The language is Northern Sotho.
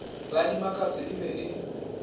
la dimakatšo e be e